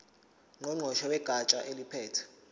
ngqongqoshe wegatsha eliphethe